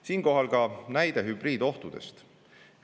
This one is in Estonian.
Siinkohal ka näide hübriidohtudest.